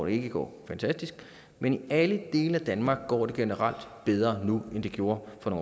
ikke går fantastisk men i alle dele af danmark går det generelt bedre nu end det gjorde for